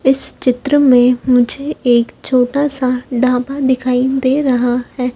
इस चित्र में मुझे एक छोटा सा ढाबा दिखाई दे रहा है।